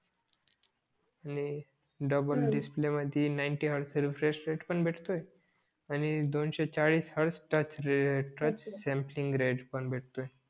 double display मधी ninety hertz चा refresh rate पण भेटतोय आणि दोनशे चाळीस hertz touch rate touch sampling ग्रेज पण भेटतोय